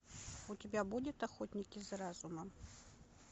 у тебя будет охотники за разумом